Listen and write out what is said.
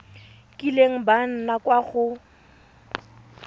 kileng ba nna kwa go